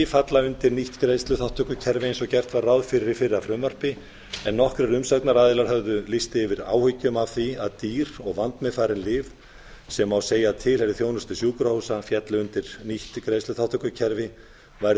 falla undir nýtt greiðsluþátttökukerfi eins og gert var ráð fyrir í fyrra frumvarpi en nokkrir umsagnaraðilar höfðu lýst yfir áhyggjum af því að dýr og vandmeðfarin lyf sem má segja að tilheyri þjónustu sjúkrahúsa féllu undir nýtt greiðsluþátttökukerfi væru